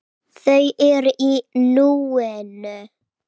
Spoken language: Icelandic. Þau eru í núinu.